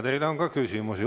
Teile on ka küsimusi.